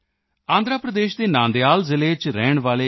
ਆਂਧਰ ਪ੍ਰਦੇਸ਼ ਦੇ ਨਾਂਦਿਯਾਲ ਜ਼ਿਲ੍ਹੇ ਰਹਿਣ ਵਾਲੇ ਕੇ